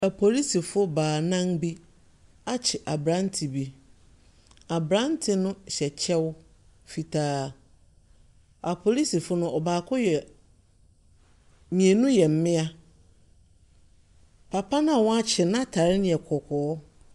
Apolisifo baanan bi akye akye aberante bi. Aberante no hyɛ kyɛw fitaa. Apolisifo no, ɔbaako yɛ mmienu yɛ mmea. Papa no a wɔate no n'atare no yɛ kɔkɔɔ.